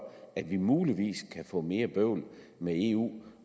at vi muligvis kan få mere bøvl med eu